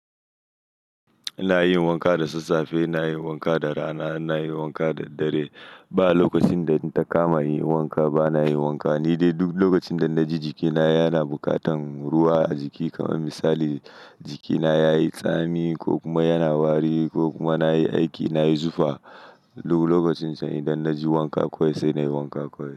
Inayin wanka da sassafe inayin wanka da rana inayin wanka da daddare ba lokacin da inta kama in yi wanka, bana yin wanka. Ni dai duk lokacin da na ji jikina yana buƙatar ruwa a jiki, kamar misali jikina ya yi tsami ko kuma yana wari ko kuma na yi aiki, na yi zufa, lokacin ce idan na ji wanka kawai, sai na yi wanka kawai.